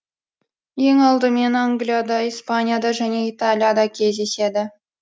ең алдымен англияда испанияда және италияда кездеседі